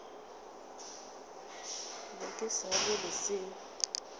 be ke sa le lesea